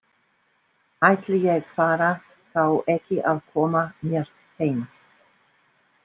Ætli ég fari þá ekki að koma mér heim.